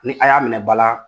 Ni a y'a minɛ ba la,